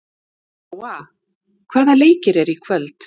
Nóa, hvaða leikir eru í kvöld?